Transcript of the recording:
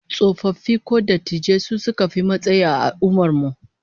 Tsofaffi ko dattijai su suka fi matsayi a al'ummar mu